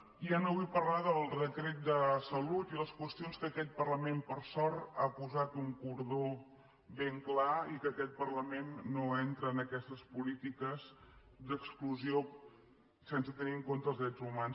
i ja no vull parlar del decret de salut i les qüestions que aquest parlament per sort ha posat un cordó ben clar i que aquest parlament no entra en aquestes polítiques d’exclusió sense tenir en compte els drets humans